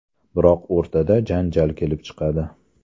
Biroq o‘rtada janjal kelib chiqadi.